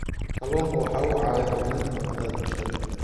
Kalluunku wuxuu caawiyaa horumarinta nafaqada bulshada.